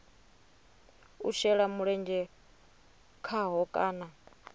u shela mulenzhe khaho kana